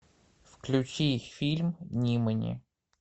включи фильм нимани